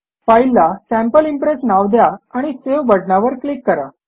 फाईलला sample impress नाव द्या आणि सावे बटणावर क्लिक करा